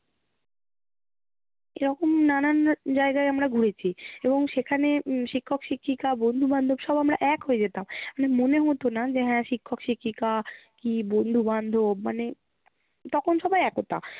এরকম নানান জায়গায় আমরা ঘুরেছি এবং সেখানে উম শিক্ষক শিক্ষিকা বন্ধু বান্ধব সব আমরা এক হয়ে যেতাম। মানে মনে হতো না যে শিক্ষক শিক্ষিকা কি বন্ধু বান্ধব মানে তখন সবাই একতা